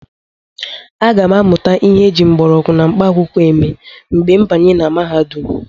Aga m amụtakwu ihe eji mgbọrọgwụ na mkpaakwụkwọ eme mgbe m banyere na mahadum.